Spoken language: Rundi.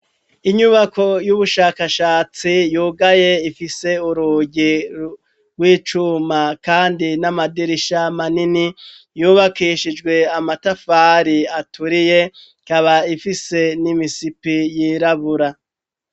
Inyubako y'ubushakashatsi yugaye ifise urugi rw'icuma, kandi n'amadirisha manini yubakishijwe amatafari aturiye, ikaba ifise n'imisipi yirabura.